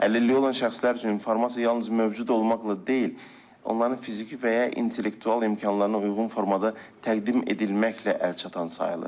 Əlilliyi olan şəxslər üçün informasiya yalnız mövcud olmaqla deyil, onların fiziki və intellektual imkanlarına uyğun formada təqdim edilməklə əlçatan sayılır.